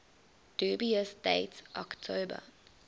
dubious date october